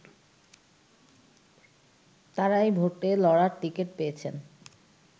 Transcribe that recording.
তারাই ভোটে লড়ার টিকিট পেয়েছেন